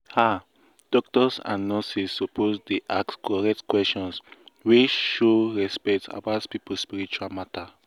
ah doctors and nurses suppose dey ask correct questions wey show respect about people spiritual matter.